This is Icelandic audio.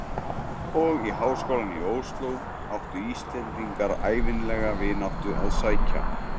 Og í háskólann í Osló áttu Íslendingar ævinlega vináttu að sækja.